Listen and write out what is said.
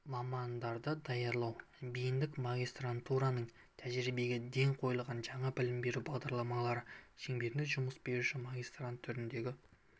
мамандарды даярлау бейіндік магистратураның тәжірибеге ден қойылған жаңа білім беру бағдарламалары шеңберінде жұмыс беруші магистрант түріндегі